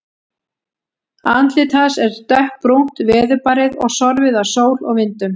Andlit hans er dökkbrúnt, veðurbarið og sorfið af sól og vindum.